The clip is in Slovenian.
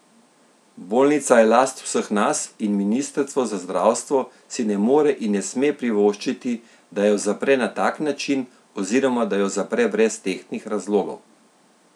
Bolnica je last vseh nas in Ministrstvo za zdravstvo si ne more in ne sme privoščiti, da jo zapre na tak način oziroma da jo zapre brez tehtnih razlogov.